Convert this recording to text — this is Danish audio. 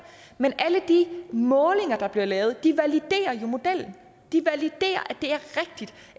men alle de målinger der bliver lavet validerer jo modellen de validerer